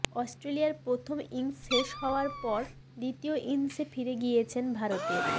অস্ট্রেলিয়ার প্রথম ইনিংস শেষ হওয়ার পর দ্বিতীয় ইনিংসে ফিরে গিয়েছেন ভারতের